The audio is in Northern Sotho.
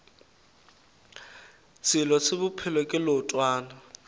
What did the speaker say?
selo se bophelo ke leotwana